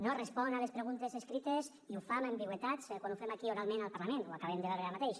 no respon a les preguntes escrites i ho fa amb ambigüitats quan ho fem aquí oralment al parlament ho acabem de veure ara mateix